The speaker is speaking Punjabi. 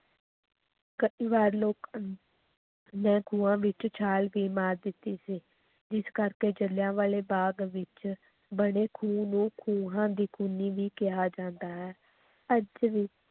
ਕਈ ਵਾਰ ਲੋਕ ਨੇ ਖੂਹਾਂ ਵਿੱਚ ਛਾਲ ਵੀ ਮਾਰ ਦਿੱਤੀ ਸੀ, ਜਿਸ ਕਰਕੇ ਜਿਲ੍ਹਿਆਂਵਾਲੇ ਬਾਗ ਵਿੱਚ ਬਣੇ ਖੂਹ ਨੂੰ ਖੂਹਾਂ ਦੀ ਖੂਨੀ ਵੀ ਕਿਹਾ ਜਾਂਦਾ ਹੈ, ਅੱਜ ਵੀ